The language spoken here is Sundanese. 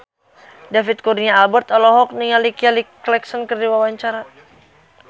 David Kurnia Albert olohok ningali Kelly Clarkson keur diwawancara